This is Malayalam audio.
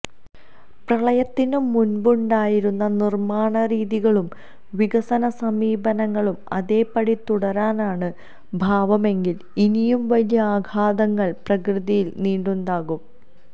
പ്രളയത്തിനു മുൻപുണ്ടായിരുന്ന നിർമാണ രീതികളും വികസന സമീപനങ്ങളും അതേ പടി തുടരാനാണ് ഭാവമെങ്കിൽ ഇനിയും വലിയ ആഘാതങ്ങൾ പ്രകൃതിയിൽ നിന്നുണ്ടാകും